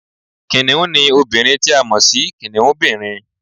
Kìnìún ni obìnrin ti a mọ̀ si kìnìúnbìrin